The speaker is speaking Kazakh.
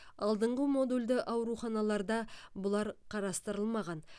алдынғы модульді ауруханаларда бұлар қарастырылмаған